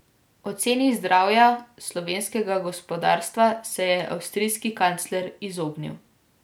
Oceni zdravja slovenskega gospodarstva se je avstrijski kancler izognil.